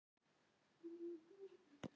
Eru þetta við?